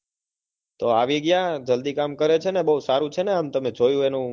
તો આવી ગયા જલ્દી કામ કરે છે ને તમે જોયું તમને કેવું લાગ્યું?